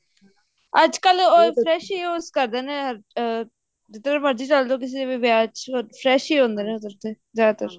ਅੱਜਕਲ all fresh ਹੀ use ਕਰਦੇ ਨੇ ਅਮ ਜਿੱਧਰ ਮਰਜ਼ੀ ਚਲ੍ਜੋ ਕਿਸੇ ਵੀ ਵਿਆਹ ਚ fresh ਹੀ ਹੁੰਦੇ ਨਾ ਉੱਧਰ ਤੇ ਜਿਆਦਾ ਤਰ